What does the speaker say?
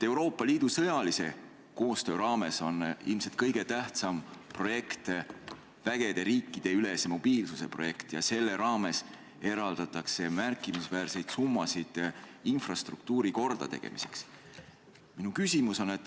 Euroopa Liidu sõjalise koostöö raames on ilmselt kõige tähtsam vägede riikidevahelise mobiilsuse projekt ja selle raames eraldatakse märkimisväärseid summasid infrastruktuuri kordategemiseks.